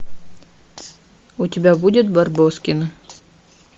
у тебя будет барбоскины